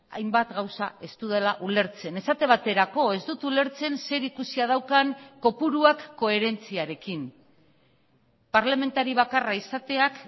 hainbat gauza ez dudala ulertzen esate baterako ez dut ulertzen zer ikusia daukan kopuruak koherentziarekin parlamentari bakarra izateak